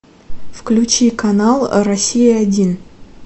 включи канал россия один